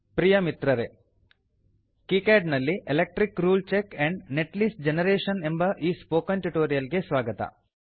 ಪ್ರಿಯ ಮಿತ್ರರೇ ಕೀಕ್ಯಾಡ್ ನಲ್ಲಿ electric rule and netlist generation ಎಂಬ ಈ ಸ್ಪೋಕನ್ ಟ್ಯುಟೋರಿಯಲ್ ಗೆ ಸ್ವಾಗತ